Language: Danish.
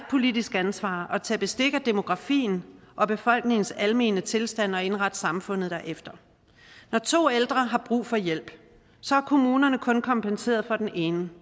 politisk ansvar at tage bestik af demografien og befolkningens almene tilstand og indrette samfundet derefter når to ældre har brug for hjælp har kommunerne kun kompenseret for den ene